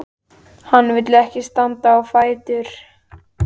En hann vill ekki standa á fætur.